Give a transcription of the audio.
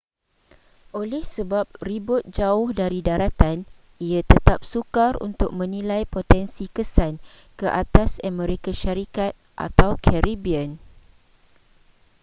oleh sebab ribut jauh dari daratan ia tetap sukar untuk menilai potensi kesan ke atas amerika syarikat atau caribbean